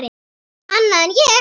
Annað en ég.